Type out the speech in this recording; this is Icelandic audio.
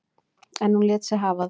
En hún lét sig hafa það.